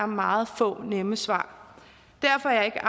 meget få nemme svar derfor er jeg